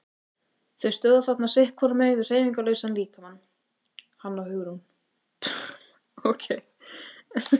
Þau stóðu þarna sitt hvorum megin við hreyfingarlausan líkamann, hann og Hugrún.